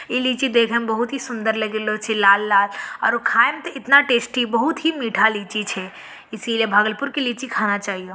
ई लीची देखन में बहुत सुन्दर लागेलो छे लाल-लाल और उ खाये में इतना टेस्टी बहुत ही मीठा लीची छे इसलिए भागलपुर के लीची खाना चाहिए।